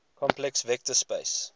complex vector space